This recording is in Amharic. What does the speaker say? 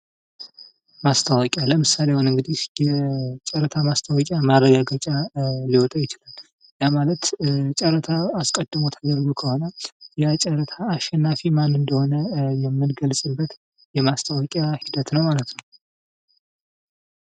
ማስተዋወቂያ ለምሳሌ እንግዲህ ጨረታ ማስታወቂያ ማረጋገጫ ሊወጣ ይችላል። ይሃ ማለት ጨረታ አስቀድሞ ተደርጎ ከሆነ ያ ጨረታ አሸናፊ ማን እንደሆነ የምንገልጽበት የማስታወቂያ ሂደት ነው ማለት ነው።